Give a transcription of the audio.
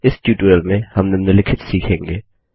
इस ट्यूटोरियल में हम निम्नलिखित सीखेंगे